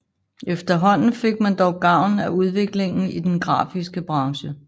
Efterhånden fik man dog gavn af udviklingen i den grafiske branche